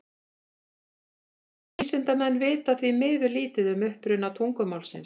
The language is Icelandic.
Vísindamenn vita því miður lítið um uppruna tungumálsins.